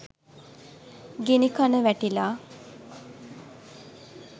ගිණිකන වැටිලා